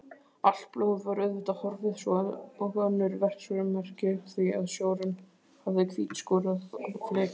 Allt blóð var auðvitað horfið svo og önnur verksummerki því að sjórinn hafði hvítskúrað flekann.